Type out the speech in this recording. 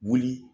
Wuli